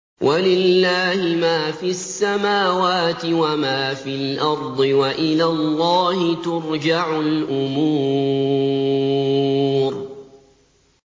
وَلِلَّهِ مَا فِي السَّمَاوَاتِ وَمَا فِي الْأَرْضِ ۚ وَإِلَى اللَّهِ تُرْجَعُ الْأُمُورُ